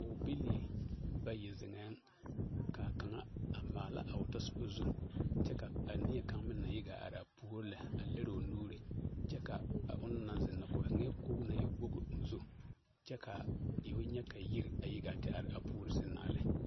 Pɔɔbilii bayi zeŋɛɛ ka kaŋa a maala a o tasoba zu kyɛ ka a neɛ kaŋa na yi ɡaa are a puori lɛ a liri o nuuri kyɛ ka a onaŋ na zeŋ o zeŋɛɛ koɡi na e woɡi o zu kyɛ ka fo nyɛ ka yiri yiɡaa te are a puori sɛŋ na.